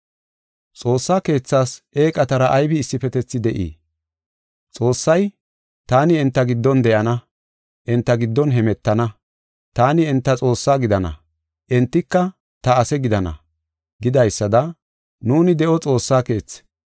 Xoossaa Keethas eeqatara aybi issifetethi de7ii? Xoossay, “Taani enta giddon de7ana, enta giddon hemetana. Taani enta Xoossaa gidana; entika ta ase gidana” gidaysada, nuuni de7o Xoossaa keethi.